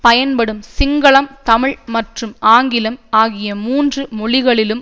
பயன்படும் சிங்களம் தமிழ் மற்றும் ஆங்கிலம் ஆகிய மூன்று மொழிகளிலும்